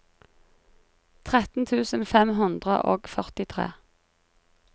tretten tusen fem hundre og førtitre